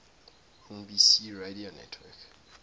nbc radio network